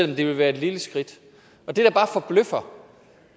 det ville være et lille skridt det der bare forbløffer